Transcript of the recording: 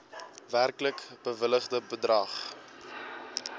werklik bewilligde bedrag